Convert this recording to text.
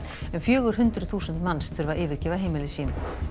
um fjögur hundruð þúsund manns þurfa að yfirgefa heimili sín